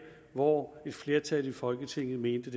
hvor et flertal i folketinget mente